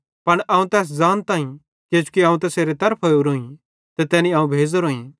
पन अवं तैस ज़ानताईं किजोकि अवं तैसेरे तरफां ओरोईं ते तैनी अवं भेज़ोरोईं